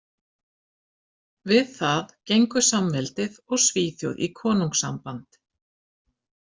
Við það gengu samveldið og Svíþjóð í konungssamband.